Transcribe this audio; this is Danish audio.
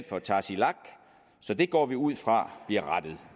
for tasiilaq så det går vi ud fra bliver rettet